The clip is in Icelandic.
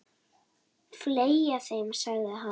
Fleygja þeim, sagði hann.